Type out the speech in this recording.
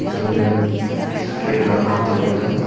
दूर में एक सफेद रंग का टेबल है।